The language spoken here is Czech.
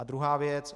A druhá věc.